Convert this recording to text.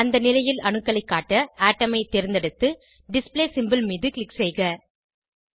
அந்த நிலையில் அணுக்களைக் காட்ட அட்டோம் ஐ தேர்ந்தெடுத்து டிஸ்ப்ளே சிம்போல் மீது க்ளிக் செய்க